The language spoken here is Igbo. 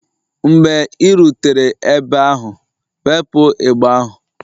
Mgbe ị rutere ebe ahụ, wepụ igbe ahụ!